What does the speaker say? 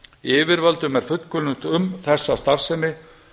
yfirvöldum er fullkunnugt um þessa starfsemi